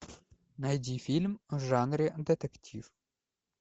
найди фильм в жанре детектив